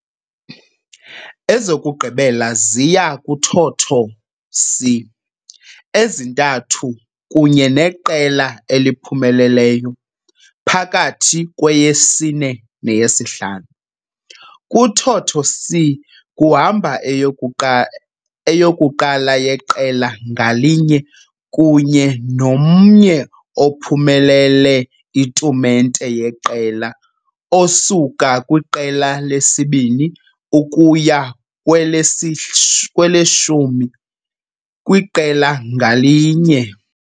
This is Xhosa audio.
Ezokugqibela ziya kuthotho c ezintathu kunye neqela eliphumeleleyo phakathi kweyesine neyesihlanu. Kuthotho c kuhamba eyokuqa eyokuqala yeqela ngalinye kunye nomnye ophumelele itumente yeqela Osuka kwiqela lesibini ukuya kwelesi kweleshumi kwiqela ngalinye.